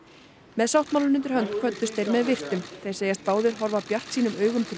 með sáttmálann undir hönd kvöddust þeir með virktum þeir segjast báðir horfa bjartsýnum augum til